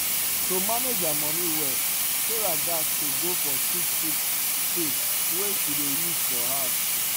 to manage her money well sarah gas to go for cheap cheap thing wey she dey use for house